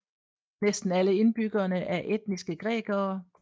Næsten alle indbyggerne er etniske grækere